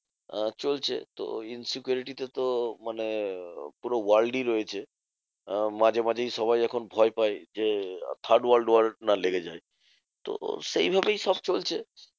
আহ চলছে তো insecurity টা তো মানে আহ পুরো world ই রয়েছে। আহ মাঝে মাঝেই সবাই এখন ভয় পায় যে, third world war না লেগে যায়। তো সেইভাবেই সব চলছে।